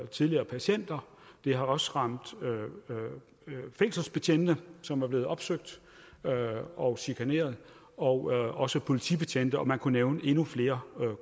tidligere patienter det har også ramt fængselsbetjente som er blevet opsøgt og chikaneret og også politibetjente man kunne nævne endnu flere